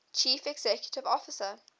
chief executive officer